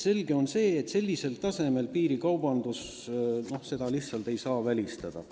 Selge on, et sellise vahe korral piirikaubandust lihtsalt ei saa välistada.